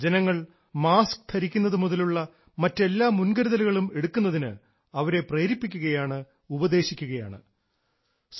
ജനങ്ങൾ മാസ്ക് ധരിക്കുന്നതു മുതലുള്ള മറ്റെല്ലാ മുൻകരുതലുകളും എടുക്കുന്നതിന് അവരെ പ്രേരിപ്പിക്കുകയാണ് ഉപദേശിക്കുകയാണ്